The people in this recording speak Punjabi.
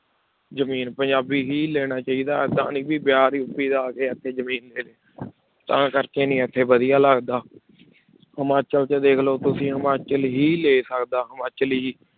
ਜ਼ਮੀਨ ਪੰਜਾਬੀ ਹੀ ਲੈਣਾ ਚਾਹੀਦਾ ਏਦਾਂ ਨੀ ਬਿਹਾਰ ਯੂਪੀ ਦਾ ਆ ਕੇ ਇੱਥੇ ਜ਼ਮੀਨ ਲੈ ਤਾਂ ਕਰਕੇ ਨੀ ਇੱਥੇ ਵਧੀਆ ਲੱਗਦਾ ਹਿਮਾਚਲ 'ਚ ਦੇਖ ਲਓ ਤੁਸੀਂ ਹਿਮਾਚਲ ਹੀ ਲੈ ਸਕਦਾ ਹਿਮਾਚਲੀ